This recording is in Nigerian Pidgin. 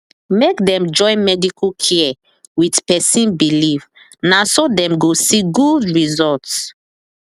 make dem join medical care with person believe na so dem go see good result